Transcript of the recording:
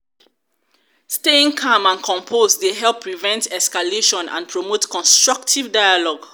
staying calm and composed dey help prevent escalation and promote constructive dialogue.